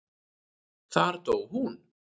Þar dó hún.